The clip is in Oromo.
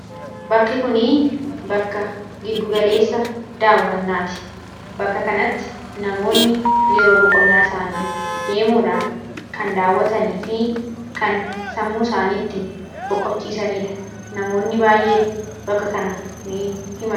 bakki kunii bakka giddugaleessa daawwannaati bakka kanatti namoonni yeroo boqonnaa isaanii deemuudhaan kan daawwatanii fi kan sammuu isaaniitti boqochiisaniidha namoonni baay'een bakka kana ni imalu.